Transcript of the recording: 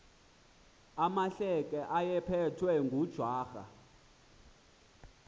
amahleke ayephethwe ngujwarha